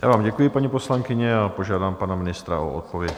Já vám děkuji, paní poslankyně, a požádám pana ministra o odpověď.